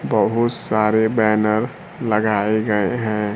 बहुत सारे बैनर लगायें गये है।